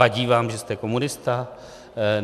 Vadí vám, že jste komunista?